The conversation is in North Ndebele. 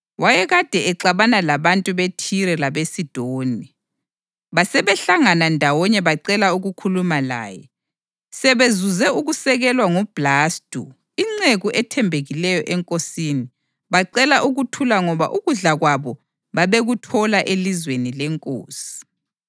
Wayekade exabana labantu beThire labeSidoni; basebehlangana ndawonye bacela ukukhuluma laye. Sebezuze ukusekelwa nguBhlastu inceku ethembekileyo enkosini, bacela ukuthula ngoba ukudla kwabo babekuthola elizweni lenkosi.